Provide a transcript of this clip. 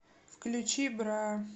включи бра